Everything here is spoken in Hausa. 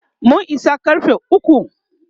mun Isa karfe ukwu